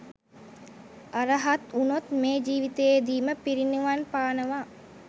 අරහත් වුණොත් මේ ජීවිතයේදීම පිරිනිවන් පානවා.